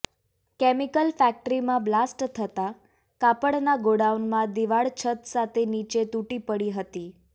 chemical ફેક્ટરીમાં blast થતાં કાપડના ગોડાઉનમાં દીવાળ છત સાથે નીચે તૂટી પડી હતી